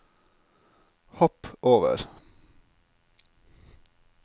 hopp over